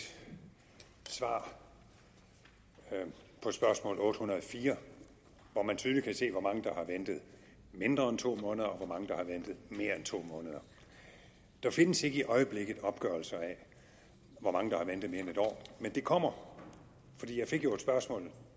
svar på spørgsmål otte hundrede og fire hvor man tydeligt kan se hvor mange der har ventet mindre end to måneder og hvor mange der har ventet mere end to måneder der findes ikke i øjeblikket opgørelser af hvor mange der har ventet mere end en år men det kommer for jeg fik jo et spørgsmål